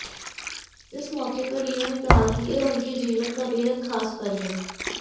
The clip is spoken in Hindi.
इस मौके पर लियो ने कहा कि यह उनके जीवन का बेहद खास पल है